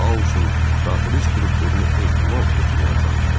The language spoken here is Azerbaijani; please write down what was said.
Bu xaosun daxili strukturunu ehtimal etməyə çalışdım.